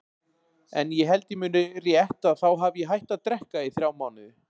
Ég held ég muni rétt að þá hafi ég hætt að drekka í þrjá mánuði.